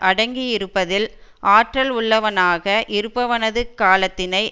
அடங்கி இருப்பதில் ஆற்றல் உள்ளவனாக இருப்பவனது காலத்தினை